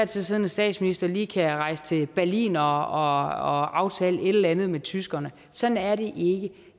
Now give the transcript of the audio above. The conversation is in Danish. tid siddende statsminister lige kan rejse til berlin og aftale et eller andet med tyskerne sådan er det ikke